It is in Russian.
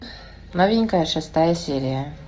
новенькая шестая серия